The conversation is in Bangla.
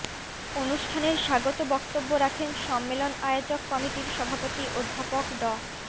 অনুষ্ঠানের স্বাগত বক্তব্য রাখেন সম্মেলন আয়োজক কমিটির সভাপতি অধ্যাপক ড